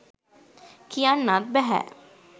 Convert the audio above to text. කියන්නත් බැහැ.